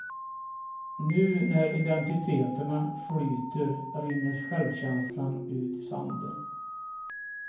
Nu när identiteterna flyter rinner självkänslan ut i sanden.